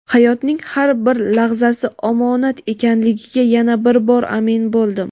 hayotning har bir lahzasi omonat ekanligiga yana bir bor amin bo‘ldim.